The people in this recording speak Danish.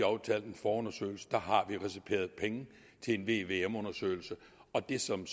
aftalt en forundersøgelse vi har reserveret penge til en vvm undersøgelse og det som